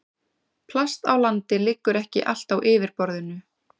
Plast á landi liggur ekki allt á yfirborðinu.